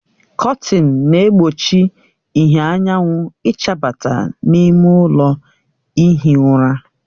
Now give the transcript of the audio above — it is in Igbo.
Kọtinị na-egbochi ìhè anyanwụ ịchabata n'ime ụlọ ihi ụra